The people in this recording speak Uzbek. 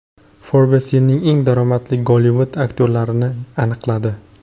Forbes yilning eng daromadli Gollivud aktyorlarini aniqladi.